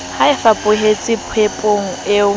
ha e fapohe popehong e